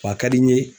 Wa ka di n ye